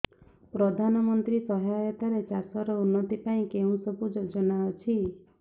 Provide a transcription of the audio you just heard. ପ୍ରଧାନମନ୍ତ୍ରୀ ସହାୟତା ରେ ଚାଷ ର ଉନ୍ନତି ପାଇଁ କେଉଁ ସବୁ ଯୋଜନା ଅଛି